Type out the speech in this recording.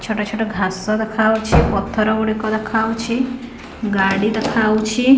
ଛୋଟ ଛୋଟ ଘାସ ଦେଖାଉଛି ପଥର ଗୁଡ଼ିକ ଦେଖାଉଛି ଗାଡ଼ି ଦେଖାଉଛି ।